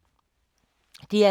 DR K